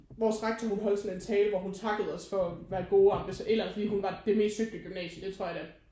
Vores rektor hun kunne holde sådan en tale hvor hun takkede os for at være gode et eller andet fordi hun var det mest søgte gymnasie det tror jeg da